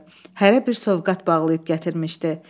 Hərə bir sovqat bağlayıb gətirmişdi.